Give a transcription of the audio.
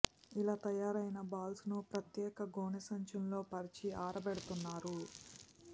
ఇలా తయారైన బాల్స్ ను ప్రత్యేక గోనె సంచులను పరిచి ఆరబెడుతున్నారు